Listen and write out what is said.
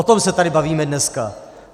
O tom se tady bavíme dneska.